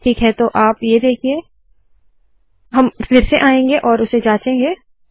ठीक है तो आप ये देखिए हम फिर से आएंगे और उसे जांचेंगे